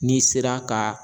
N'i sera ka